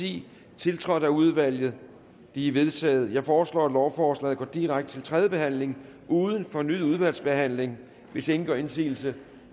ti tiltrådt af udvalget de er vedtaget jeg foreslår at lovforslaget går direkte til tredje behandling uden fornyet udvalgsbehandling hvis ingen gør indsigelse